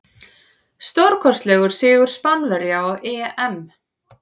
Stórkostlegur sigur Spánverja á EM.